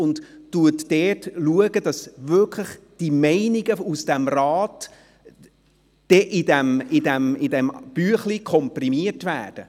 Er wird dafür sorgen, dass die Meinungen aus dem Grossen Rat in diesem Abstimmungsbüchlein komprimiert werden.